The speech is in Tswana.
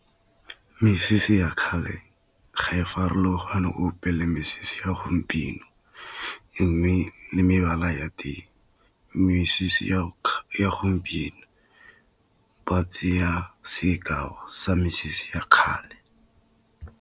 Mesese ya kgale ga e farologane gope le mesese ya gompieno, mme le mebala ya teng. Mesese ya gompieno ba tseya sekao sa mesese ya kgale.